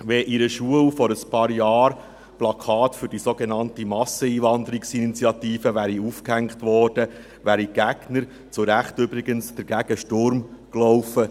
Wenn an einer Schule vor einigen Jahren Plakate für die sogenannte Masseneinwanderungsinitiative aufgehängt worden wären, wären die Gegner – übrigens zu Recht – dagegen Sturm gelaufen.